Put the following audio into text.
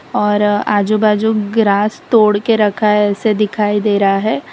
और आजू बाजू ग्रास तोड़ के रखा है ऐसे दिखाई दे रहा है।